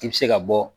I bɛ se ka bɔ